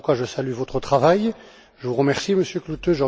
Voilà pourquoi je salue votre travail et je vous remercie, Monsieur Klute.